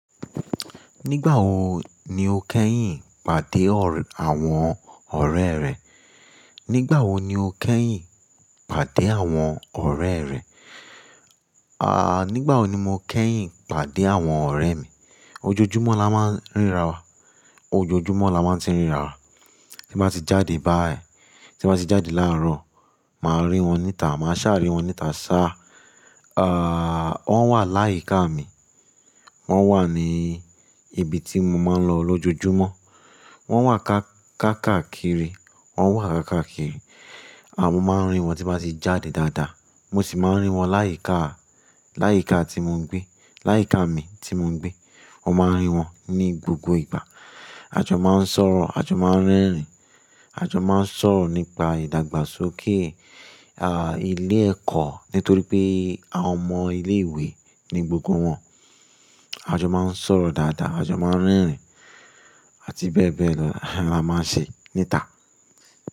Nígbà wo ni o kẹ́yìn pàdé àwọn ọ̀rẹ́ rẹ? Nígbà wo ni o kẹ́yìn pàdé àwọn ọ̀rẹ́ rẹ? Nígbà wo ni mo kẹ́yìn pàdé àwọn ọ̀rẹ́ mi? Ojoojúmọ́ la máa ń ríra wa. Ojoojúmọ́ la máa ti ń ríra wa. Tí bá ti jáde bá ẹ, tí bá ti jáde láàárọ̀, màá rí wọn níta, màá ṣà rí wọn níta ṣá. Ah, wọ́n wà láyíká mi. Wọ́n wà ní ibi tí mo máa ń lọ lójoojúmọ́. Wọ́n wà ká-ká-kàkiri. Wọ́n wà ká-kàkiri. A máa ń rí wọn tí bá ti jáde dáadáa. Mo sì máa ń rí wọn láyíká, láyíká tí mo ń gbé. Láyíká mi tí mo ń gbé. Mo máa rí wọn ní gbogbo ìgbà. A jọ máa ń sọ̀rọ̀, a jọ máa ń rẹ́rìn-ín, a jọ máa ń sọ̀rọ̀ nípa ìdàgbàsókè, ilé ẹ̀kọ́ nítorí pé àwọn ọmọ ilé ìwé ni gbogbo wọn. A jọ máa ń sọ̀rọ̀ dáadáa, a jọ máa ń rẹ́rìn-ín àti bẹ́ẹ̀ bẹ́ẹ̀ lọ la máa ń ṣe níta.